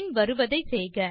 பின்வருவதை செய்க